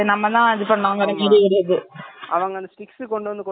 அவங்க அந்த six கொண்டு வந்து கொண்டு வந்து வச்சிட்டே இருப்பாங்க six ல நம்ம என்ன கேக்கறமோ